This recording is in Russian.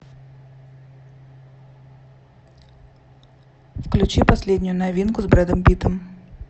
включи последнюю новинку с брэдом питтом